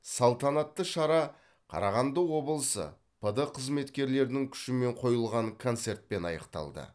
салтанаты шара қарағанды облысы пд қызметкерлерінің күшімен қойылған концертпен аяқталды